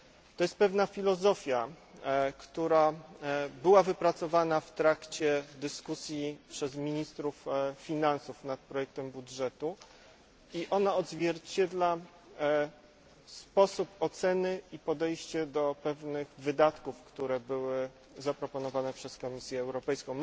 To jest pewna filozofia, która została wypracowana w trakcie dyskusji przez ministrów finansów nad projektem budżetu i ona odzwierciedla sposób oceny i podejście do pewnych wydatków, które zostały zaproponowane przez Komisję Europejską.